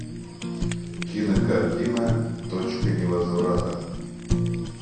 кинокартина точка невозврата